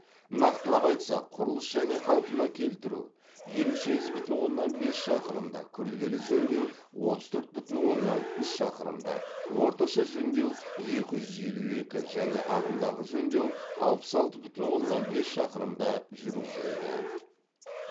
нақтылап айтсақ құрылыс және қалпына келтіру елу сегіз бүтін оннан бес шақырымда күрделі жөндеу отыз төрт бүтін оннан үш шақырымда орташа жөндеу екі жүз елу екі және ағымдағы жөндеу алпыс алты бүтін оннан бес шақырымда жүргізілді